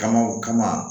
Kama o kama